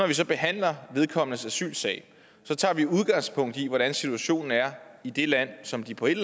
vi så behandler vedkommendes asylsag tager vi udgangspunkt i hvordan situationen er i det land som de på et